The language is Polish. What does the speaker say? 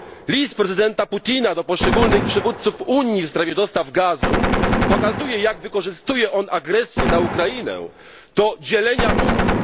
List prezydenta Putina do poszczególnych przywódców Unii w sprawie dostaw gazu pokazuje, jak wykorzystuje on agresję na Ukrainę do dzielenia Unii.